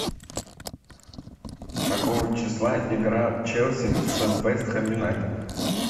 какого числа игра челси с вест хэм юнайтед